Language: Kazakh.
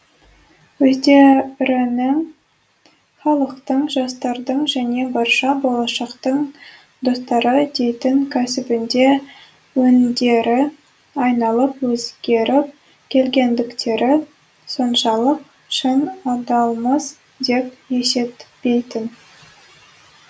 өздерінің халықтың жастардың және барша болашақтың достары дейтін кәсібінде өңдері айналып өзгеріп келгендіктері соншалық шын адалмыз деп есептейтін